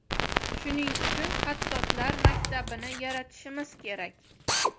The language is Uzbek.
Shuning uchun xattotlar maktabini yaratishimiz kerak.